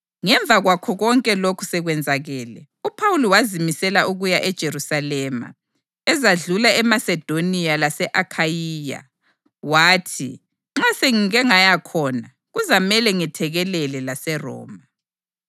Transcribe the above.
Ngemva kwakho konke lokhu sekwenzakele, uPhawuli wazimisela ukuya eJerusalema, ezadlula eMasedoniya lase-Akhayiya. Wathi, “Nxa sengike ngaya khona, kuzamele ngethekelele laseRoma.”